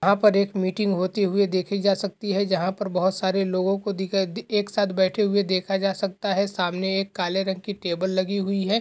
पर एक मीटिंग होती हुई देखी जा सकती है जहाँ पर बहोत सारे लोगों को दिख अ एक साथ बैठे हुए देखा जा सकता है | सामने एक काले रंग की टेबल लगी हुई है।